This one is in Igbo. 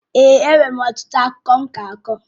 Èè, enwere m ọtụtụ akụkọ m ga-akọ.